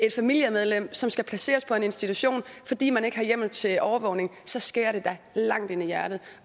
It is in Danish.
et familiemedlem som skal placeres på en institution fordi man ikke har hjemmel til overvågning så skærer det da langt ind i hjertet